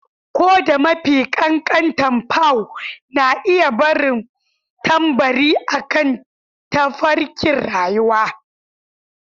Ko da mafi ƙanƙanta paw na iya barin tambari akan tafarkin rayuwa.